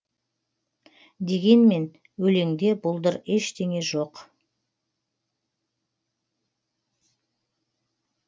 дегенмен өлеңде бұлдыр ештеңе жоқ